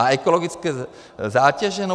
A ekologické zátěže?